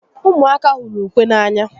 Umuaka huru ukwe n'anya